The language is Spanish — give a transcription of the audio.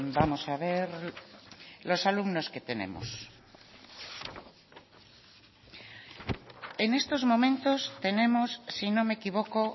vamos a ver los alumnos que tenemos en estos momentos tenemos si no me equivoco